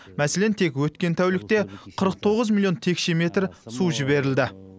мәселен тек өткен тәулікте қырық тоғыз миллион текше метр су жіберілді